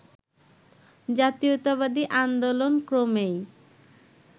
জাতীয়তাবাদী আন্দোলন ক্রমেই